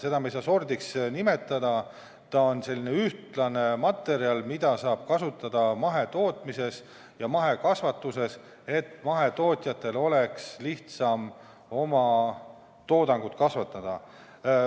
Seda me ei saa sordiks nimetada, see on selline ühtlane materjal, mida saab kasutada mahetootmises ja mahekasvatuses, et mahetootjatel oleks lihtsam oma toodangut kasvatada.